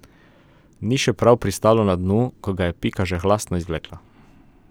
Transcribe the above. Ni še prav pristalo na dnu, ko ga je Pika že hlastno izvlekla.